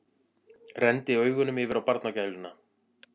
Renndi augunum yfir á barnagæluna.